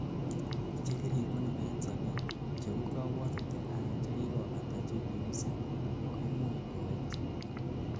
chekiribunu en sobet, cheu kabwotutik anan chekikobata chekiusin, koimuch kowech